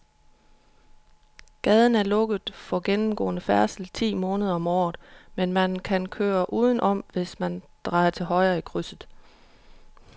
Gaden er lukket for gennemgående færdsel ti måneder om året, men man kan køre udenom, hvis man drejer til højre i krydset.